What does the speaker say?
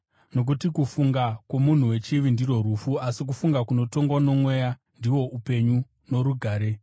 Nokuti kufunga kwomunhu wechivi ndirwo rufu, asi kufunga kunotongwa noMweya ndihwo upenyu norugare;